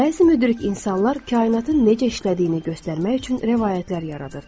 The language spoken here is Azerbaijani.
Bəzi müdrik insanlar kainatın necə işlədiyini göstərmək üçün rəvayətlər yaradırdı.